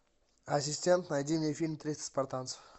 ассистент найди мне фильм триста спартанцев